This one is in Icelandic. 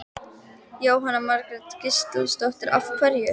Jóhanna Margrét Gísladóttir: Af hverju?